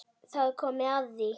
Þá er komið að því!